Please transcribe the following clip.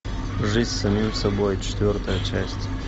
жизнь с самим собой четвертая часть